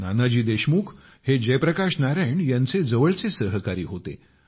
नानाजी देशमुख हे जयप्रकाश नारायण यांचे जवळचे सहकारी होते